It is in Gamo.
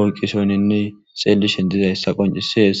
oyqqisoyninne xeelishen dizayssa qoncisees.